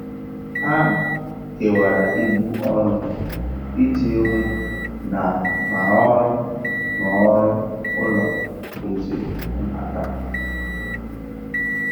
Ha kewara ibu ọrụ iji hụ na ma ọrụ ma ọrụ ụlọ kwụziri nhata.